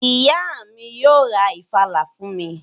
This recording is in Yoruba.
Ìyá mi yóò ra ìfàlà fún mi